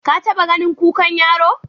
Ka taɓa ganin kukan yaro?